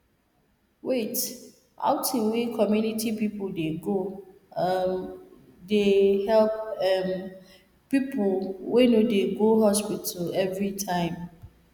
wait outing wey community people dey go um they help um people wey no dey go hospital everytime